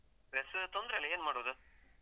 Dress ತೊಂದ್ರೆ ಇಲ್ಲ, ಏನ್ ಮಾಡುದು?